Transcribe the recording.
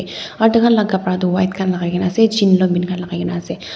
aru takhan laka kapra tu white khan lakai na ase jean long pant khan lakaikaena ase.